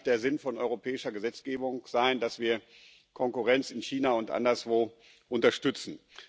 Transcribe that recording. Das kann nicht der Sinn von europäischer Gesetzgebung sein, dass wir Konkurrenz in China und anderswo unterstützen.